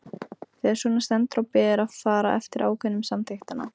Þegar svona stendur á ber að fara eftir ákvæðum samþykktanna.